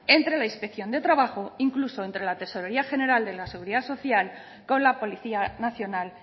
entre la inspección de trabajo incluso entre la tesorería general de la seguridad social con la policía nacional